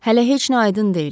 Hələ heç nə aydın deyil.